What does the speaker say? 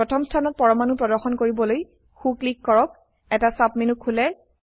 প্ৰথম স্থানত পৰমাণু প্ৰদৰ্শন কৰিবলৈ সো ক্লিক কৰক এটা সাবমেনু খোলে